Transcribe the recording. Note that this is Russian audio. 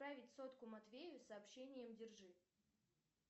отправить сотку матвею с сообщением держи